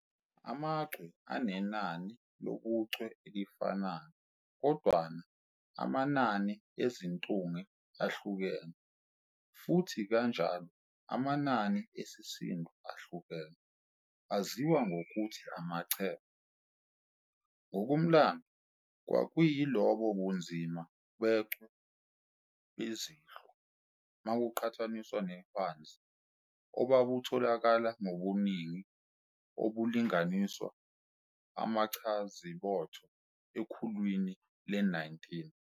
AmaChwe anenani lobuchwe elifanayo kodwana anamanani eziNtunge ahlukene, futhi kanjalo anamanani esisindo ahlukene, aziwa ngokuthi amaChembe. Ngokomlando, kwakuyilobo bunzima bechwe bezinhlwa, makuqhathaniswa neHwanzi, obabutholakala ngobuningi obulinganiswa abachazibotho ekhulwini le-19.